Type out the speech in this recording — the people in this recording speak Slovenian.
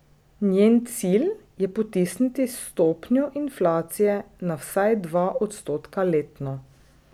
Njen cilj je potisniti stopnjo inflacije na vsaj dva odstotka letno.